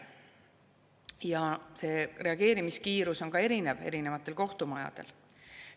Ja see reageerimiskiirus on erinevatel kohtumajadel erinev.